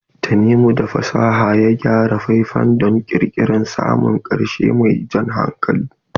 Tanimu da fasaha ya gyara faifan don ƙirƙirar samfurin ƙarshe mai jan hankali.